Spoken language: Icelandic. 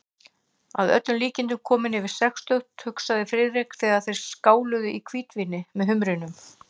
Að öllum líkindum kominn undir sextugt, hugsaði Friðrik, þegar þeir skáluðu í hvítvíni með humrinum.